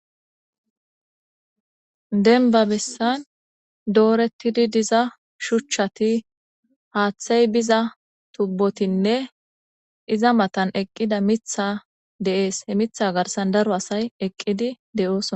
Denba bessan dooretidi diza shuchchati haaththey biza tubbotinne iza matan eqqida mitha de'ees he mitha garsan daro asay eqqidi de'oos.